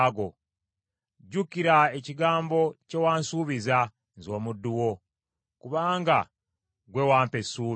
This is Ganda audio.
Jjukira ekigambo kye wansuubiza, nze omuddu wo, kubanga gwe wampa essuubi.